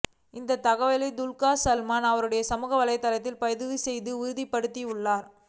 இந்த தகவலை துல்கர் சல்மான் அவருடைய சமூக வலைத்தளத்தில் பதிவு செய்து உறுதிப்படுத்தியுள்ளார்